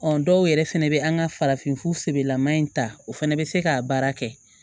dɔw yɛrɛ fɛnɛ bɛ an ka farafinfura sɛbɛlama in ta o fana bɛ se k'a baara kɛ